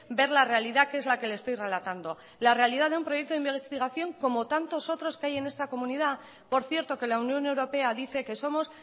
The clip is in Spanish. ver la realidad que es la que le estoy relatando la realidad de un proyecto de investigación como tantos otros que hay en esta comunidad por cierto que la unión europea dice que somos